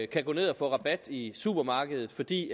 kan gå ned og få rabat i supermarkedet fordi